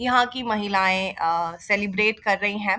यहां की महिलाये अ सेलिब्रेट कर रही है।